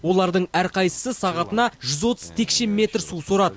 олардың әрқайсысы сағатына жүз отыз текше метр су сорады